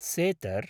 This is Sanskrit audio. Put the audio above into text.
सेतर्